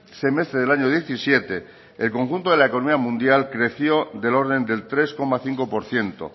semestre del año diecisiete el conjunto de la economía mundial creció del orden del tres coma cinco por ciento